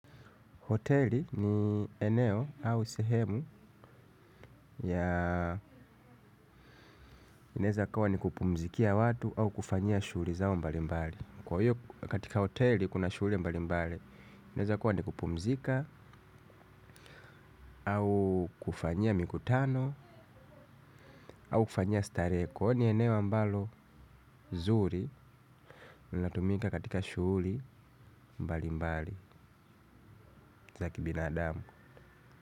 Hoteli ni eneo au sehemu ya inaweza ikawa ni kupumzikia watu au kufanyia shughuli zao mbali mbali. Kwa hiyo katika hoteli kuna shughuli mbali mbali. Inaweza kuwa ni kupumzika au kufanyia mikutano au kufanyia starehe. Kwa hiyo ni eneo ambalo nzuri lina tumika katika shughuli mbali mbali za kibinadamu.